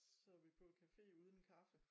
Så vi på café uden kaffe